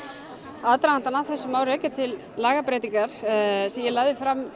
aðdragandann að þessu má rekja til lagabreytingar sem ég lagði fram